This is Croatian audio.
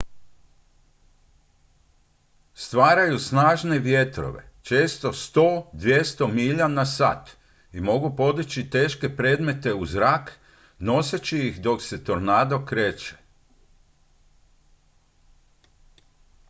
stvaraju snažne vjetrove često 100 – 200 milja/sat i mogu podići teške predmete u zrak noseći ih dok se tornado kreće